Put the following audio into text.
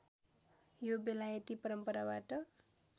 यो बेलायती परम्पराबाट